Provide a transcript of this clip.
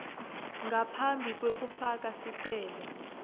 ngaphambi kwekufaka sicelo